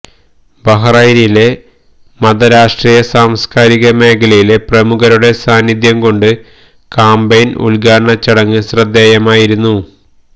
ബഹ്റൈനിലെ മതരാഷ്ട്രീയസാംസ്കാരിക മേഖലയിലെ പ്രമുഖരുടെ സാന്നിധ്യം കൊണ്ട് കാംപയിന് ഉദ്ഘാടന ചടങ്ങ് ശ്രദ്ധേയമായിരുന്നു